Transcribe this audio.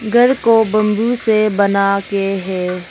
घर को बंबू से बनाके हे।